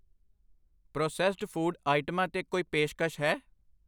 Processed food ਆਈਟਮਾਂ 'ਤੇ ਕੋਈ ਪੇਸ਼ਕਸ਼ ਹੈ ?